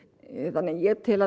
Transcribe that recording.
þannig að ég tel